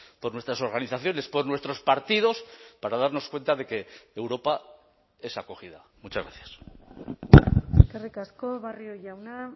por nuestras organizaciones por nuestros partidos para darnos cuenta de que europa es acogida muchas gracias eskerrik asko barrio jauna